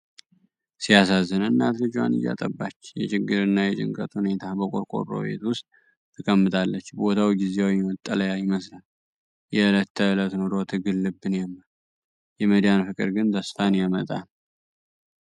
ሲያሳዝን! እናት ልጇን እያጠባች! የችግርና የጭንቀት ሁኔታ! በቆርቆሮ ቤት ውስጥ ተቀምጣለች፤ ቦታው ጊዜያዊ መጠለያ ይመስላል። የዕለት ተዕለት ኑሮ ትግል ልብን ያማል። የመዳን ፍቅር ግን ተስፋን ያመጣል!